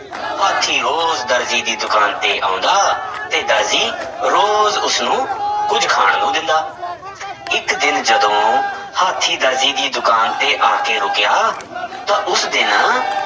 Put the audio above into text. ਹਾਥੀ ਰੋਜ਼ ਦਰਜੀ ਦੀ ਦੁਕਾਨ ਤੇ ਆਉਂਦਾ ਤੇ ਦਰਜੀ ਰੋਜ਼ ਉਸਨੂੰ ਕੁੱਝ ਖਾਣ ਨੂੰ ਦਿੰਦਾ ਇੱਕ ਦਿਨ ਜਦੋਂ ਹਾਥੀਂ ਦਰਜੀ ਦੀ ਦੁਕਾਨ ਤੇ ਆ ਕੇ ਰੁੱਕਿਆ ਤਾਂ ਉਸ ਦਿਨ